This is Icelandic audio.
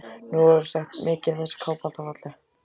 Nú orðið er sagt: Mikið er þessi kápa alltaf falleg